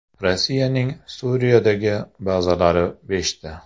Rossiyaning Suriyadagi bazalari beshta.